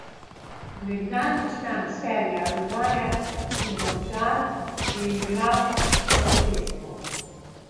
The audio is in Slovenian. Nekdanji član Celja, Rudarja in Domžal je igral vso tekmo.